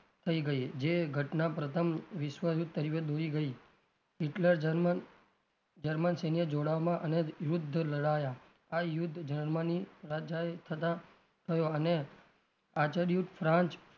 થઇ ગઈ જે ઘટના પ્રથમ વિશ્વ યુદ્ધ તરફ દોરી ગઈ હિટલર જર્મન જર્મન સિંગે જોડાવવામાં અને યુદ્ધ લડાયા આ યુદ્ધ જર્મની રાજાએ થતાં થયો અને ફ્રાંચ,